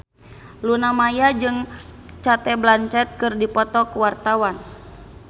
Luna Maya jeung Cate Blanchett keur dipoto ku wartawan